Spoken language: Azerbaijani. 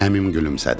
Əmim gülümsədi.